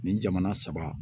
Nin jamana saba